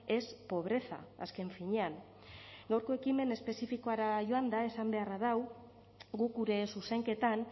es pobreza azken finean gaurko ekimen espezifikora joanda esan beharra dau guk gure zuzenketan